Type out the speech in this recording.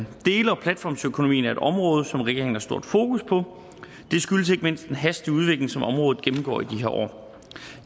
og platformsøkonomien er et område som regeringen har stort fokus på det skyldes ikke mindst den hastige udvikling som området gennemgår i de her år